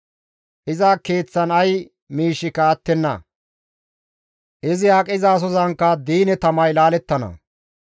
Iza keeththan ay miishshika attenna; izi aqizasozankka diine tamay laalettana.